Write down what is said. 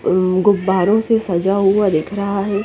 अम्म गुब्बारों से सजा हुआ दिख रहा है।